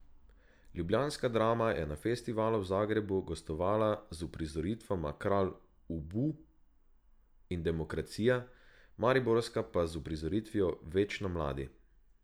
Ljubljanska Drama je na festivalu v Zagrebu gostovala z uprizoritvama Kralj Ubu in Demokracija, mariborska pa z uprizoritvijo Večno mladi.